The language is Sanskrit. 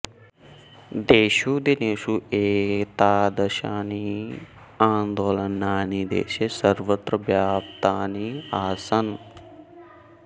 तेषु दिनेषु एतादृशानि आन्दोलनानि देशे सर्वत्र व्याप्तानि आसन्